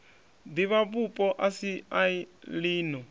divhavhupo a si a lino